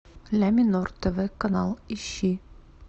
ля минор тв канал ищи